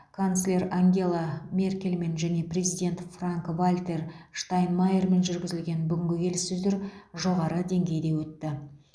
канцлер ангела меркельмен және президент франк вальтер штайнмайермен жүргізілген бүгінгі келіссөздер жоғары деңгейде өтті